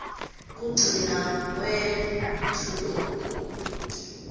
kugcila kwetfu lokukhulu